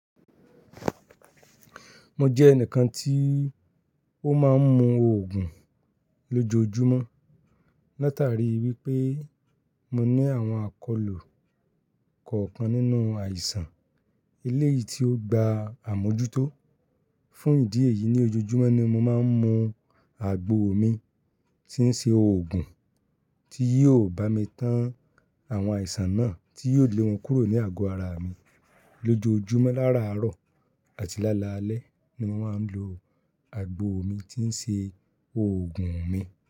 Mo jẹ ẹnìkan tí ó má ń mu òògùn lójoojúmọ́. Látàrí wípé mo ní àwọn àkọlù kọ̀ọ̀kan nínú àìsàn. Eléyìí tí ó gba àmójútó. Fún ìdí èyí ní ojoojúmọ́ ni mo má ń mu àgbo mi tí ń ṣe òògùn, tí yóò bá mi tán àwọn àìsàn náà tí yóò lè wọn kúrò ní àgọ́ ara mi. Lójojúmọ́ lára àárọ̀ àti lálalẹ́ ni mo má ń lo àgbo mi tí ń ṣe òògùn mi.